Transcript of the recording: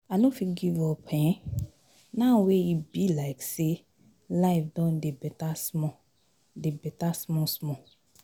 I no fit give up um now wey e be like say life don dey beta small dey beta small small.